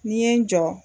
N'i ye n jɔ